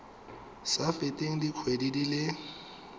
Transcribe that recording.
sa feteng dikgwedi di le